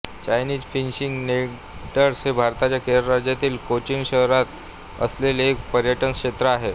Chinese fishing nets हे भारताच्या केरळ राज्यातील कोचीन शहरात असलेले एक पर्यटन क्षेत्र आहे